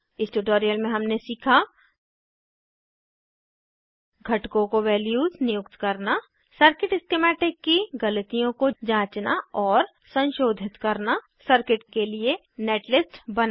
इस ट्यूटोरियल में हमने सीखा घटकों को वैल्यूज़ नियुक्त करना सर्किट स्किमैटिक की गलतियों को जाँचना और संशोधित करना सर्किट के लिए नेटलिस्ट बनाना